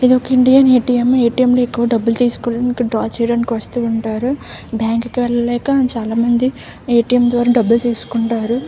ఇది ఒక Indian ATM. ATM. లో ఎక్కువ డబ్బులు తీసుకోవడానికి డ్రా చేసుకోవడానికి వస్తూ ఉంటారు. బ్యాంకు కు వెల్లలేక చాలామంది ఎ.టి.యం. ద్వారానే చాల మంది డబ్బులు తీసుకుంటారు.